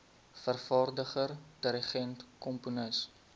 vervaardiger dirigent komponis